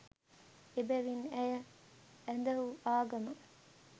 එබැවින් ඇය ඇදහූ ආගම